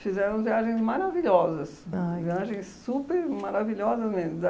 fizeram viagens maravilhosas, viagens super maravilhosas mesmo.